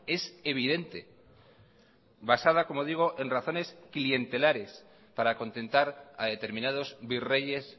es evidente basada como digo en razones clientelares para contentar a determinados virreyes